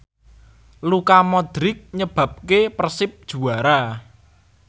Luka Modric nyebabke Persib juara